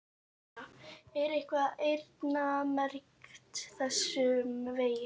Erla: Er eitthvað eyrnamerkt þessum vegi?